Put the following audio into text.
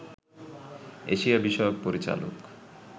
Asia বিষয়ক পরিচালক